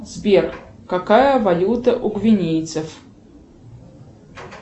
сбер какая валюта у гвинейцев